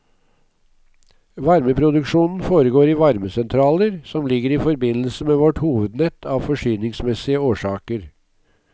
Varmeproduksjonen foregår i varmesentraler, som ligger i forbindelse med vårt hovednett av forsyningsmessige årsaker.